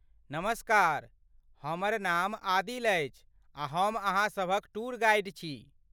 नमस्कार, हमर नाम आदिल अछि आ हम अहाँसभक टूर गाइड छी।